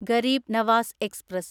Garib Nawaz express